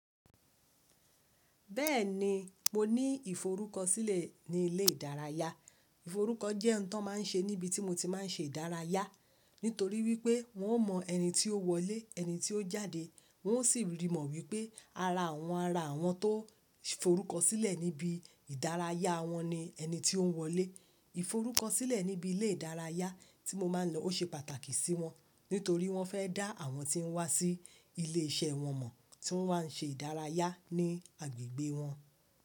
Bẹ́ẹ̀ni, mo ní ìforúkọ sílẹ̀ ní ilé ìdárayá. Ìforúkọ jẹ́ ohun tó máa ń ṣe níbi tí mo ti máa ń ṣe ìdárayá. Nítorí wípé wọn o mọ ẹni tí ó wọlé, ẹni tí ó jáde. Wọn o si rí mọ̀ wípé ara àwọn ara wọn tó forúkọ sílẹ̀ níbi ìdárayá wọn ni ẹni tí ó ń wọlé. Ìforúkọ sílẹ̀ níbi ilé ìdárayá tí mo máa ń lọ ó ṣe pàtàkì sí wọn, nítorí wọ́n fẹ́ dá àwọn tí ń wá sí ilé iṣẹ́ wọn mọ̀ tí wọ́n máa ń ṣe ìdárayá ní agbègbè wọn.